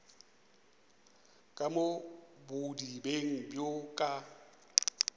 ka mo bodibeng bjo ka